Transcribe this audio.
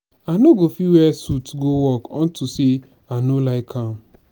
i no go fit wear suit go work unto say i no like am